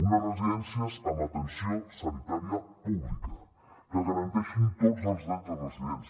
unes residències amb atenció sanitària pública que garanteixin tots els drets dels residents